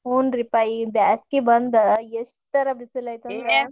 ಹುನ್ರಿಪಾ ಈ ಬ್ಯಾಸಗಿ ಬಂದ್ ಎಷ್ಟರ ಬಿಸಲ್ .